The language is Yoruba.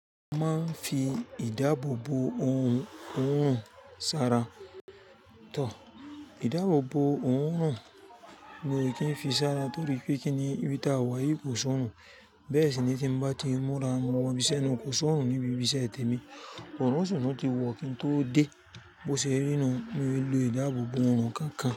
A máa ń fi ìdáàbò bo ohun ọ̀run sára. Tò, ìdáàbò bo ohun ọ̀run mi ò kí n fi sára torí pé kíni ibi tà wà yí kò sọ̀nrùn. Bẹ́ẹ̀ sì ni tí n bá ti múra mu mọ bíṣẹ́ náà kò sọ̀nrùn níbi bíṣẹ́ tè mi. Ọ̀run sì tun ti wọ́ kí n tó dé. Bo ṣe rí nu, mo lo ìdáàbò bo ọ̀run kánkán.